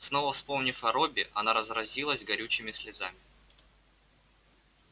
снова вспомнив о робби она разразилась горючими слезами